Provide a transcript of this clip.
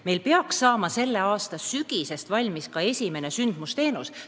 Meil peaks saama selle aasta sügiseks valmis ka esimene sündmusteenus.